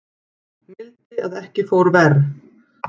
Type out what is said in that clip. Mildi að ekki fór verr